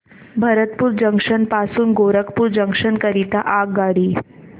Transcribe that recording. Bharatpur junction पासून Gorakhpur junction करीता आगगाडी